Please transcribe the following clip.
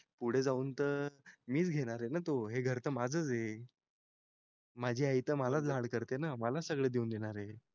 पुढे जाऊन त मीच घेणार आहे ना तो हे घर माझेच हे माझी आई त माझेच लाड करतेय ना मालच सगळं देऊन देणार आहे